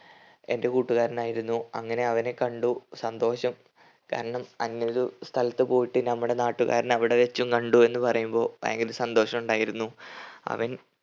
എൻ്റെ കൂട്ടുകാരനായിരുന്നു അങ്ങനെ അവനെ കണ്ടു സന്തോഷം. കാരണം അങ്ങനൊരു സ്ഥലത്ത് പോയിട്ട് നമ്മടെ നാട്ടുകാരനെ അവിടെ വെച്ചും കണ്ടു എന്ന് പറയുമ്പോൾ ഭയങ്കര സന്തോഷമുണ്ടായിരുന്നു. അവൻ